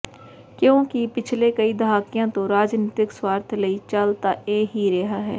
ਕਿਉਕਿ ਪਿਛਲੇ ਕਈ ਦਹਾਕਿਆਂ ਤੋ ਰਾਜਨਿਤਕ ਸੁਆਰਥ ਲਈ ਚਲ ਤਾਂ ਇਹ ਹੀ ਰਿਹਾਂ ਹੈ